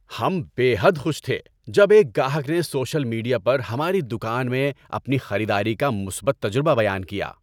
ہم بے حد خوش تھے جب ایک گاہک نے سوشل میڈیا پر ہماری دکان میں اپنی خریداری کا مثبت تجربہ بیان کیا۔